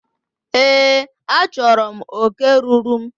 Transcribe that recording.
Èé, achọrọ m oke ruuru m.